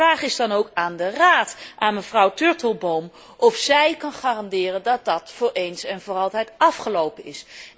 Mijn vraag is dan ook aan de Raad, aan mevrouw Turtelboom, of zij kan garanderen dat dat voor eens en voor altijd afgelopen is?